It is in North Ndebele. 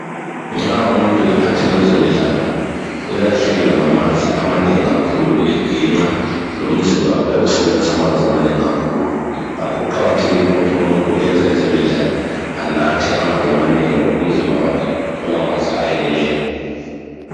Nxa umuntu ephathela kwezemidlalo uyalahlekelwa ngamanzi amanengi kakhulu eginqa lomzimba uyabe usebenzisa amanzi amanengi kakhulu. Ngakho kuqakathekile ukuthi umuntu oyenza ezemidlalo enathe amanzi amanengi umzimba wakhe uthole amanzi ayeneleyo.